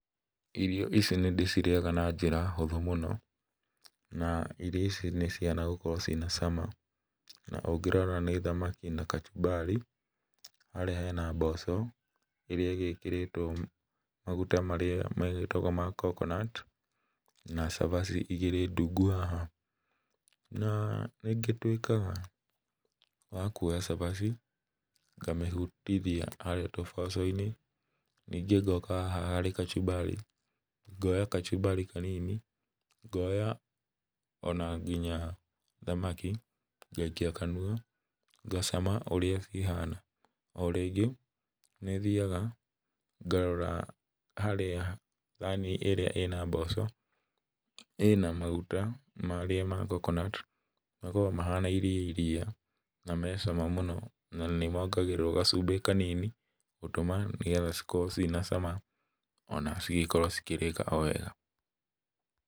Irio ici nĩndĩcirĩaga na njĩra hũthũ mũno, na irio ici nĩcihana gũkorwo cina cama. Na, ũngĩrora nĩ thamaki na kachumbari, harĩa hena mboco ĩrĩa igĩkĩrĩtwo maguta marĩa magĩtagwo ma coconut, na cabaci igĩrĩ ndungu haha. Na, nĩngĩtuĩkaga wa kuoya cabaci, na ngamĩhutithia harĩa tũboco-inĩ, ningĩ ngoka haha harĩ kachumbari, ngoya kachumbari kanini, ngoya ona nginya thamaki ngaikia kanua ngacama ũrĩa cihana. O rĩngĩ nĩthiaga ngarora harĩa thani ĩrĩa ĩna mboco, ĩna maguta marĩa ma coconut, makoragwo mahana iria iria na me cama mũno, na nĩmongagĩrĩrwo gacumbĩ kanini gũtũma nĩgetha cikorwo ciĩna cama ona cigĩkorwo cikĩrĩka o wega.